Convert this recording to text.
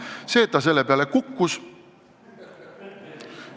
See, et ta selle peale kukkus ...